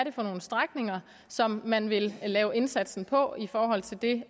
er for nogle strækninger som man vil lave indsatsen på i forhold til det